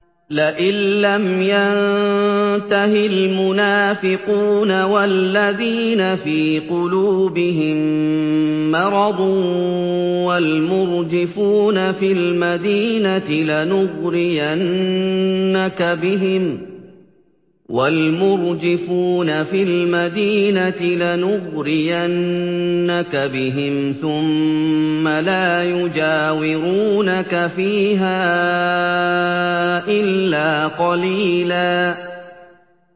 ۞ لَّئِن لَّمْ يَنتَهِ الْمُنَافِقُونَ وَالَّذِينَ فِي قُلُوبِهِم مَّرَضٌ وَالْمُرْجِفُونَ فِي الْمَدِينَةِ لَنُغْرِيَنَّكَ بِهِمْ ثُمَّ لَا يُجَاوِرُونَكَ فِيهَا إِلَّا قَلِيلًا